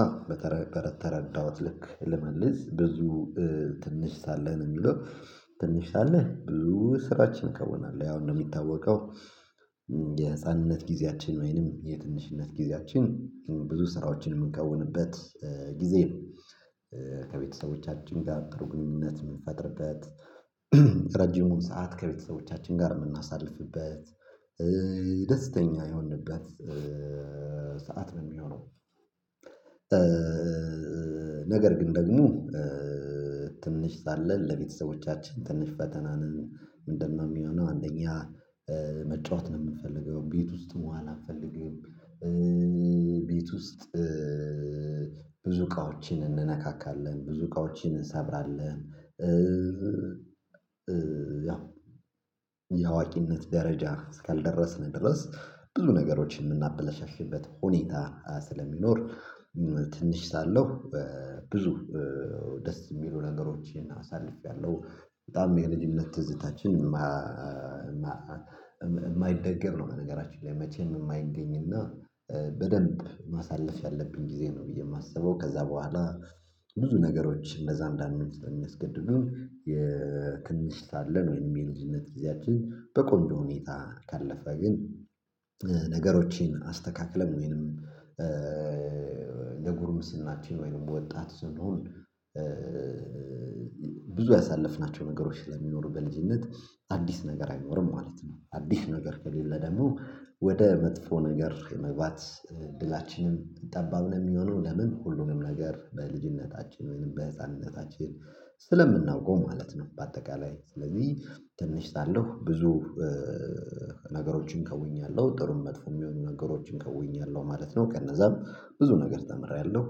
አዎ። በተረዳሁት ልክ ልመለስ ብዙ ትንሽ ሳለን የሚለው ትንሽ ሳለን ብዙ ስራዎችን ከውናለሁ ያው እንደሚታወቀው የህፃንነት ጊዜያችን ወይንም የትንሽነት ጊዜያችን ብዙ ስራዎችን የምንከውንበት ጊዜ ነው። ከቤተሰቦቻችን ጋር ጥሩ ግኑኝነት የምንፈጥርበት ረጅሙን ሰዓት ከቤተሰቦቻችን ጋር የምናሳልፍበት ደስተኛ የሆንንበት ሰዓት ነው የሚሆነው። ነገር ግን ደግሞ ትንሽ ሳለን ለቤተሰቦቻችን ትንሽ ፈተና ነን ምንድነው? የሚሆነው አንደኛ መጫወት ነው የምንፈልገው ቤት ውስጥ መዋል አንፈልግም። ቤት ውስጥ ብዙ እቃውችን እንነካካለን ብዙ እቃዎን እንሰብራለን። ያው የአዋቂነት ደረጃ እስካልደረስን ድረስ ብዙ ነገሮችን የምናበላሻሽበት ሁኔታ ስለሚኖር ትንሽ ሳለሁ ብዙ ደስ የሚሉ ነገሮችን አሳልፌያለሁ። በጣም የልጅነት ትዝታችን የማይደገም ነው በነገራችን ላይ መቼም የማይገኝና በደንብ ማሳለፍ ያለብን ጊዜ ነው ብዬ የማስበው ከዛ በኋላ። ብዙ ነገሮች እንደዛ የሚያስገድዱን ትንሽ ሳለን ወይም የልጅነት ጊዜያችን በቆንጆ ሁኔታ ካለፈ ግን። ነገሮችን አስተካክለን ወይንም ጉርምስናችን ወይንም ወጣት ስንሆን ብዙ ያሳለፍናቸው ነገሮች ስለሚኖሩ በልጅነት አዲስ ነገር አይኖርም ማለት ነው። አዲስ ነገር ከሌለ ደግሞ ወደ መጥፎ ነገር የመግባት እድላችንም ጠባብ ነው የሚሆነው። ለምን ሁሉንም ነገር በልጅነታችን ወይንም በህፃንነታችን ስለምናውቀው ማለት ነው። በአጠቃላይ ስለዚህ ትንሽ ሳለሁ ብዙ ነገሮችን ከውኛለሁ ጥሩም መጥፎ የሚሆኑ ነገሮችን ከውኛለሁ ማለት ነው። ከነዛም ብዙ ነገር ተምሬያለሁ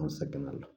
አመሰግናለሁ